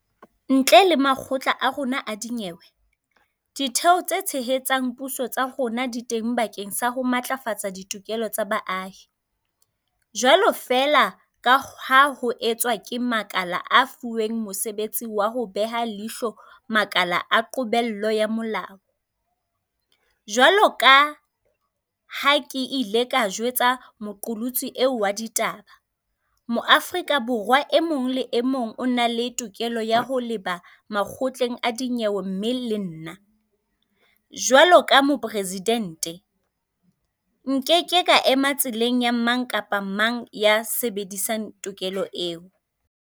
Ntle le makgotla a rona a dinyewe, Ditheo tse Tshehetsang Puso tsa rona di teng bakeng sa ho matlafatsa ditokelo tsa baahi, jwalo feela ka ha ho etswa ke makala a fuweng mosebetsi wa ho beha leihlo makala a qobello ya molao. Jwaloka ha ke ile ka jwetsa moqolotsi eo wa ditaba, Moa-frika Borwa e mong le e mong o na le tokelo ya ho leba makgotleng a dinyewe mme le nna, jwaloka Moporesidente, nkeke ka ema tseleng ya mang kapa mang ya sebedisang tokelo eo.